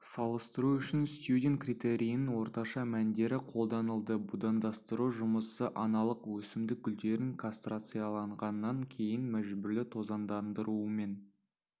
салыстыру үшін стьюдент критерийінің орташа мәндері қолданылды будандастыру жұмысы аналық өсімдік гүлдерін кастрацияланғаннан кейін мәжбүрлі тозаңдандырумен